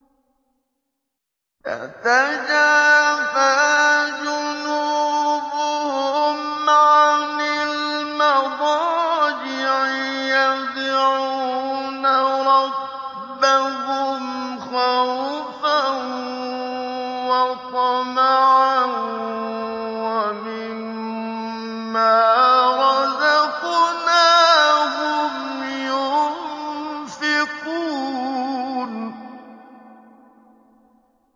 تَتَجَافَىٰ جُنُوبُهُمْ عَنِ الْمَضَاجِعِ يَدْعُونَ رَبَّهُمْ خَوْفًا وَطَمَعًا وَمِمَّا رَزَقْنَاهُمْ يُنفِقُونَ